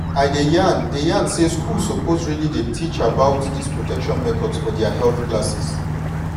i dey yan dey yan say schools suppose really dey teach about this protection methods for their health classes.